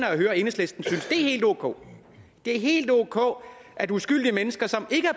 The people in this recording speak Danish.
at enhedslisten synes det er helt ok det er helt ok at uskyldige mennesker som ikke